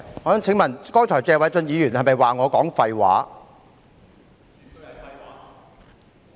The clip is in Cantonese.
我想問，謝偉俊議員剛才是否指我說廢話？